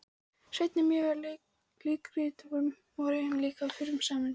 Sveinn en mörg leikrit voru líka frumsamin.